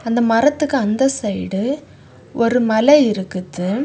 இந்த மரத்துக்கு அந்த சைடு ஒரு மலை இருக்குது.